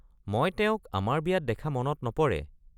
মই তেওঁক আমাৰ বিয়াত দেখা মনত নপৰে।